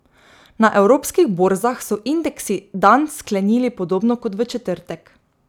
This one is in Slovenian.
Na evropskih borzah so indeksi dan sklenili podobno kot v četrtek.